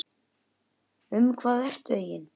Um hvað ertu eigin